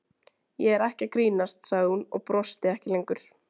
Ég er ekki að grínast, sagði hún og brosti ekki lengur.